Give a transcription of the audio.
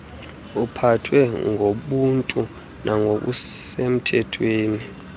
aphathwe ngobuntu nangokusemthethweni